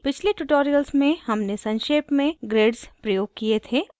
पिछले tutorials में हमने संक्षेप में grids प्रयोग किये थे